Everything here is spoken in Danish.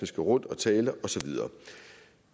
skal rundt og tale og så videre